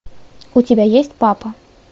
у тебя есть папа